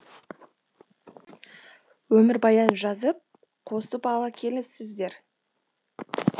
өмірбаян жазып қосып алып келесіздер